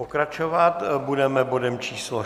Pokračovat budeme bodem číslo